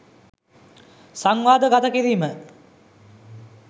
සංවාද ගත කිරීම